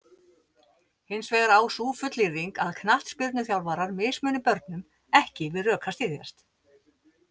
Hins vegar á sú fullyrðing að knattspyrnuþjálfarar mismuni börnum ekki við rök að styðjast.